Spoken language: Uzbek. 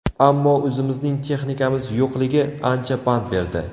Ammo o‘zimizning texnikamiz yo‘qligi ancha pand berdi”.